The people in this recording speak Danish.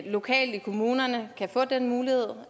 lokalt i kommunerne kan få den mulighed